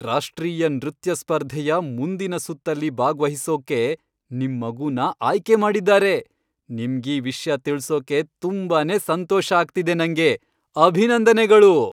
ರಾಷ್ಟ್ರೀಯ ನೃತ್ಯ ಸ್ಪರ್ಧೆಯ ಮುಂದಿನ್ ಸುತ್ತಲ್ಲಿ ಭಾಗ್ವಹಿಸೋಕ್ಕೆ ನಿಮ್ ಮಗುನ ಆಯ್ಕೆ ಮಾಡಿದ್ದಾರೆ! ನಿಮ್ಗೀ ವಿಷ್ಯ ತಿಳ್ಸೋಕೆ ತುಂಬಾನೇ ಸಂತೋಷ ಆಗ್ತಿದೆ ನಂಗೆ, ಅಭಿನಂದನೆಗಳು!